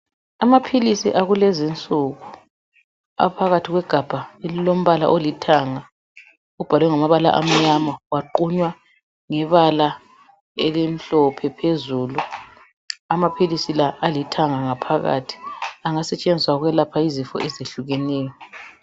Amaphilisi akulezinsuku aphakathi kwegabha elilombala olithanga. Ubhalwe ngamabala amnyama aqunya ngebala elimhlophe phezulu. Amaphilisi la alithanga ngaphakathi, angasetshenziswa ukwelapha izifo ezehlukeneyo.